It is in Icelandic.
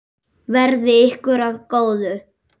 Verði ykkur að góðu.